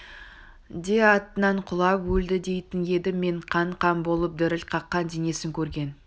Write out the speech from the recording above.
де атынан құлап өлді дейтін едім мен қан-қан болып діріл қаққан денесін көрген